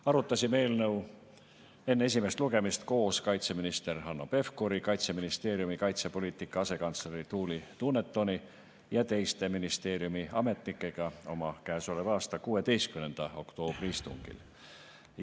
Arutasime eelnõu enne esimest lugemist koos kaitseminister Hanno Pevkuri, Kaitseministeeriumi kaitsepoliitika asekantsleri Tuuli Dunetoni ja teiste ministeeriumi ametnikega oma käesoleva aasta 16. oktoobri istungil.